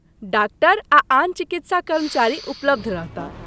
Doctor आ आन चिकित्सा कर्मचारी उपलब्ध रहताह।